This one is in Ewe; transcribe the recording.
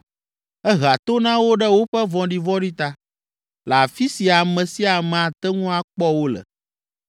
Ehea to na wo ɖe woƒe vɔ̃ɖivɔ̃ɖi ta, le afi si ame sia ame ate ŋu akpɔ wo le